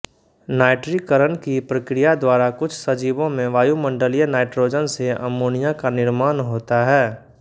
नाइट्रीकरण की प्रक्रिया द्वारा कुछ सजीवों में वायुमंडलीय नाइट्रोजन से अमोनिया का निर्माण होता है